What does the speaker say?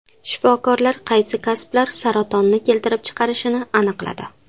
Shifokorlar qaysi kasblar saratonni keltirib chiqarishini aniqladi.